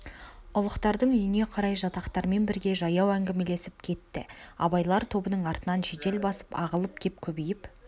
ұлықтардың үйіне қарай жатақтармен бірге жаяу әңгімелесіп кетті абайлар тобының артынан жедел басып ағылып кеп көбейіп